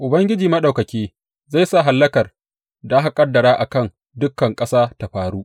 Ubangiji Maɗaukaki, zai sa hallakar da aka ƙaddara a kan dukan ƙasa ta faru.